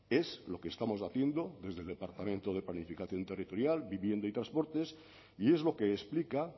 es lo que estamos haciendo desde el departamento de planificación territorial vivienda y transportes y es lo que explica